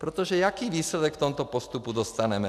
Protože jaký výsledek v tomto postupu dostaneme?